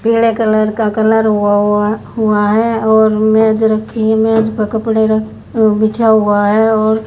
पिड़े colour का colour हुआ हुआ हुआ है और मेज रखी है मेज प कपड़े रख बिछा हुआ है और--